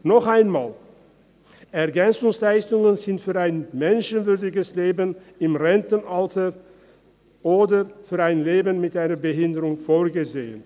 Noch einmal: EL sind für ein menschenwürdiges Leben im Rentenalter oder für ein Leben mit einer Behinderung vorgesehen.